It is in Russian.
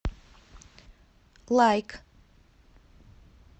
лайк